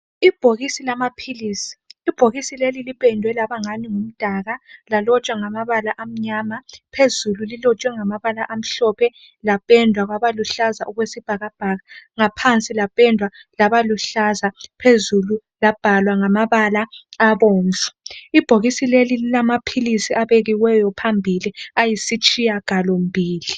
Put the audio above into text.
Ibhokisi lamaphilisi lipendwe laba ngumdaka lalotshwa ngamabala amnyama. Phezulu lilotshwe ngamabala amhlophe lapendwa laba luhlaza okwesibhakabhaka. Ngaphansi liluhlaza phezulu libhalwe ngamabala abomvu. Ibhokisi leli lilamaphilisi abekiweyo phambili ayisitshiyagalombili.